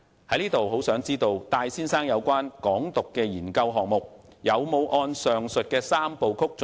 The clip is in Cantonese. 我很想知道戴先生有關"港獨"的研究項目，有否按照上述三步曲進行。